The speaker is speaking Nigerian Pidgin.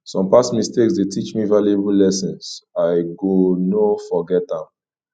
some past mistakes dey teach me valuable lessons i go no forget dem